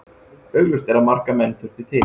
Augljóst er að marga menn þurfti til.